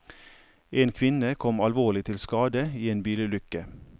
En kvinne kom alvorlig til skade i en bilulykke.